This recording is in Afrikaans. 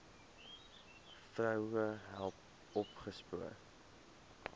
vroue self opgespoor